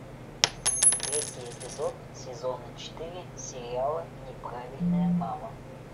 третий эпизод сезона четыре сериала неправильная мама